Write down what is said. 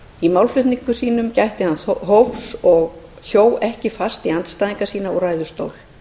í málflutningi sínum gætti hann mjög hófs og hjó ekki fast í andstæðinga sína úr ræðustól